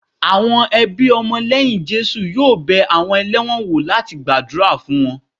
Àwọn ẹbí ọmọ lẹ́yìn Jésù yóò bẹ àwọn ẹlẹ́wọ̀n wò láti gbàdúrà fún wọn